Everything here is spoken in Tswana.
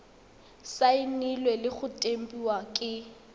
saenilwe le go tempiwa ke